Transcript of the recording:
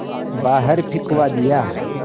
बाहर फिंकवा दिया